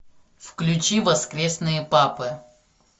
включи воскресные папы